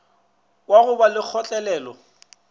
wa go ba le kgotlelelo